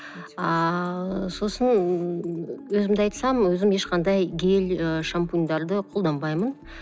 ааа сосын өзімді айтсам өзім ешқандай гель і шампуньдарды қолданбаймын